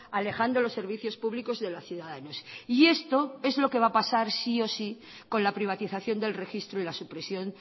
alejando los servicios públicos de los ciudadanos y esto es lo que va a pasar sí o sí con la privatización del registro y la supresión